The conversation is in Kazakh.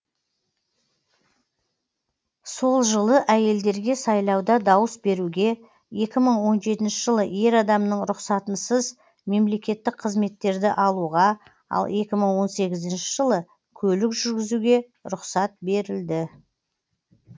сол жылы әйелдерге сайлауда дауыс беруге екі мың он жетінші жылы ер адамның рұқсатынсыз мемлекеттік қызметтерді алуға ал екі мың он тоғызыншы жылы көлік жүргізуге рұқсат берілді